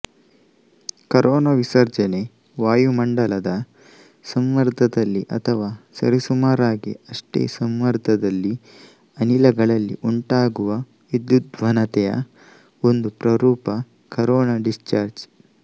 corona ವಿಸರ್ಜನೆ ವಾಯುಮಂಡಲದ ಸಂಮರ್ದದಲ್ಲಿ ಅಥವಾ ಸರಿಸುಮಾರಾಗಿ ಅಷ್ಟೇ ಸಂಮರ್ದದಲ್ಲಿ ಅನಿಲಗಳಲ್ಲಿ ಉಂಟಾಗುವ ವಿದ್ಯುದ್ವಹನತೆಯ ಒಂದು ಪ್ರರೂಪ ಕರೋನ ಡಿಸ್ಚಾರ್ಜ್